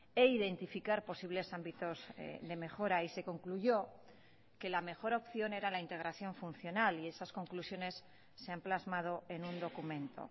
e identificar posibles ámbitos de mejora y se concluyó que la mejor opción era la integración funcional y esas conclusiones se han plasmado en un documento